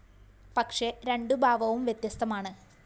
പക്ഷേ രണ്ടു ഭാവവും വ്യത്യസ്തമാണ്